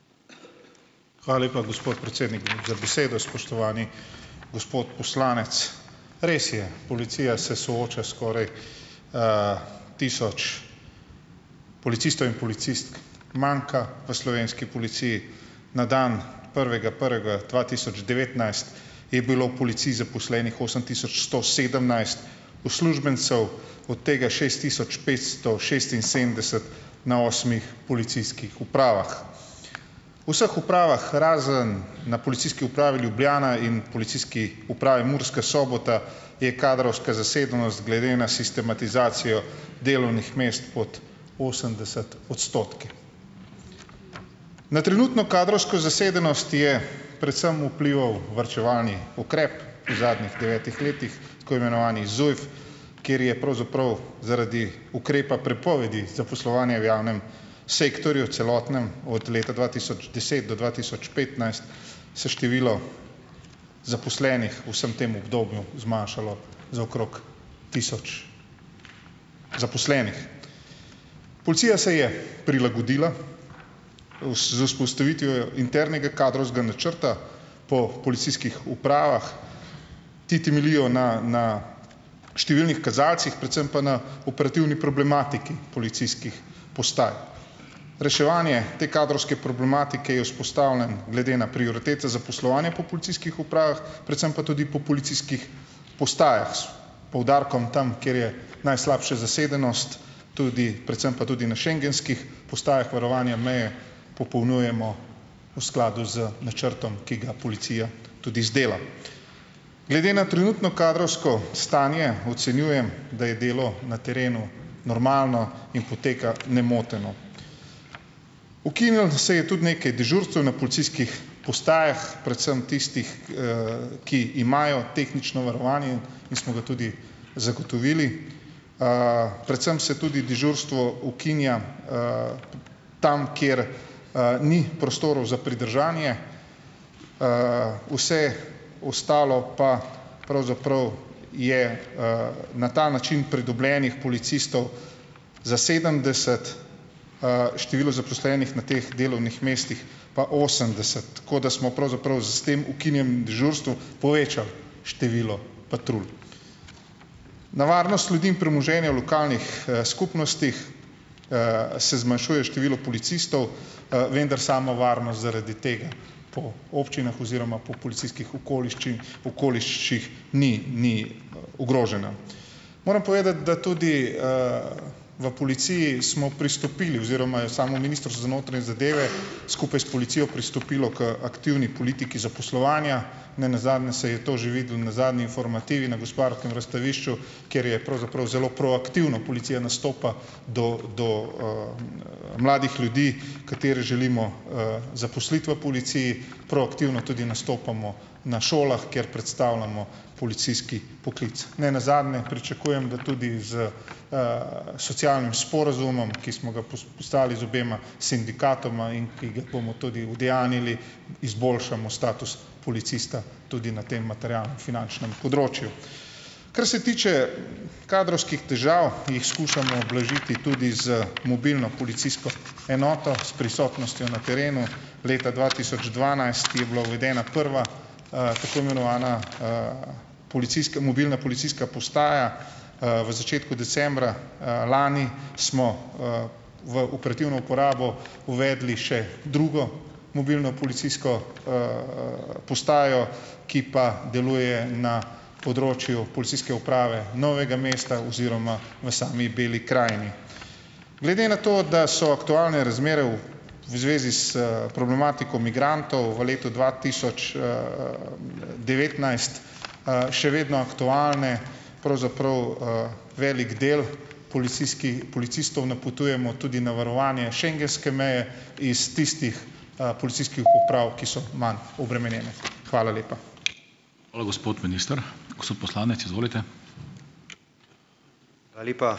Hvala lepa, gospod predsednik, za besedo. Spoštovani gospod poslanec, res je, policija se sooča - skoraj, tisoč policistov in policistk manjka v slovenski policiji. Na dan prvega prvega dva tisoč devetnajst je bilo v policiji zaposlenih osem tisoč sto sedemnajst uslužbencev, od tega šest tisoč petsto šestinsedemdeset na osmih policijskih upravah. V vseh upravah razen na Policijski upravi Ljubljana in Policijski upravi Murska Sobota je kadrovska zasedenost glede na sistematizacijo delovnih mest pod osemdeset odstotki. Na trenutno kadrovsko zasedenost je predvsem vplival varčevalni ukrep v zadnjih devetih letih, tako imenovani ZUJF, kjer je pravzaprav zaradi ukrepa prepovedi zaposlovanja v javnem sektorju celotnem od leta dva tisoč deset do dva tisoč petnajst se število zaposlenih v vsem tem obdobju zmanjšalo za okrog tisoč zaposlenih. Policija se je prilagodila, z vzpostavitvijo internega kadrovskega načrta po policijskih upravah. Ti temeljijo na na številnih kazalcih, predvsem pa na operativni problematiki policijskih postaj. Reševanje te kadrovske problematike je vzpostavljen glede na prioritete zaposlovanja po policijskih upravah, predvsem pa tudi po policijskih postajah, s poudarkom tam, kjer je najslabša zasedenost, tudi predvsem pa tudi na schengenskih postajah varovanja meje popolnjujemo v skladu z načrtom, ki ga policija tudi izdela. Glede na trenutno kadrovsko stanje ocenjujem, da je delo na terenu normalno in poteka nemoteno. Ukinilo se je tudi nekaj dežurstev na policijskih postajah, predvsem tistih, ki imajo tehnično varovanje in smo ga tudi zagotovili. Predvsem se tudi dežurstvo ukinja, tam, kjer, ni prostorov za pridržanje. Vse ostalo pa pravzaprav je, na ta način pridobljenih policistov za sedemdeset, število zaposlenih na teh delovnih mestih pa osemdeset, tako da smo pravzaprav s tem ukinjanjem dežurstev povečali število patrulj. Na varnost ljudi in premoženja v lokalnih, skupnostih, se zmanjšuje število policistov, vendar samo varnost zaradi tega po občinah oziroma po policijskih okoliščin okoliših ni ni ogrožena. Moram povedati, da tudi, v policiji smo pristopili oziroma je samo Ministrstvo za notranje zadeve skupaj s policijo pristopilo k aktivni politiki zaposlovanja, ne nazadnje se je to že videlo na zadnji infomativi na Gospodarskem razstavišču, kjer je pravzaprav zelo proaktivno policija nastopa do do, mladih ljudi, katere želimo, zaposliti v policiji, proaktivno tudi nastopamo na šolah, kjer predstavljamo policijski poklic. Ne nazadnje pričakujem, da tudi s, socialnim sporazumom, ki smo ga postavili z obema sindikatoma in ki ga bomo tudi udejanjili, izboljšamo status policista tudi na tem materialno-finančnem področju. Kar se tiče kadrovskih težav, jih skušamo ublažiti tudi z mobilno policijsko enoto s prisotnostjo na terenu. Leta dva tisoč dvanajst je bila uvedena prva, tako imenovana, policijska mobilna policijska postaja. V začetku decembra, lani smo, v operativno uporabo uvedli še drugo mobilno policijsko, postajo, ki pa deluje na področju policijske uprave Novega mesta oziroma v sami Beli krajini. Glede na to, da so aktualne razmere v zvezi s problematiko migrantov v letu dva tisoč, devetnajst, še vedno aktualne, pravzaprav, velik del policistov napotujemo tudi na varovanje schengenske meje iz tistih, policijskih uprav, ki so manj obremenjene. Hvala lepa.